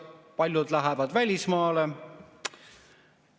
Paljud lähevad välismaale.